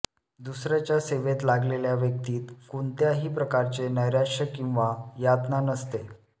दुसऱ्याच्या सेवेत लागलेल्या व्यक्तीत कुणत्याही प्रकारचे नैराश्य किंवा यातना नसते